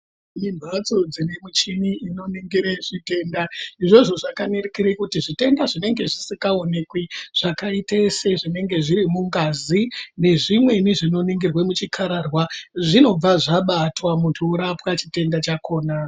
Tine mphatso dzine michini inoningire zvitenda izvozvo zvakanerikire kuti zvitenda zvinenge zvisikaonekwi zvakaite sezvinenge zviri mungazi nezvimweni zvinoningirwe muchikararwa zvinobva zvabatwa muntu orapwa chitenda chakoma.